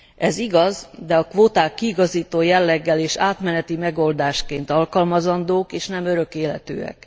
Ez igaz, de a kvóták kiigazító jelleggel és átmeneti megoldásként alkalmazandók, és nem örök életűek.